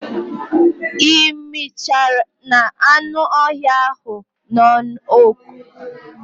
I michana anü öhïa ahu na oku